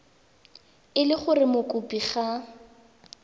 e le gore mokopi ga